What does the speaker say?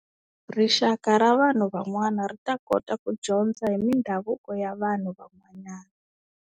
Rixaka ra vanhu van'wana ri ta kota ku dyondza hi mindhavuko ya vanhu van'wanyana.